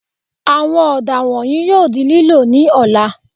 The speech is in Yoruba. Àwọn ọ̀dà wọ̀nyìí yóò di lílò ní ọ̀la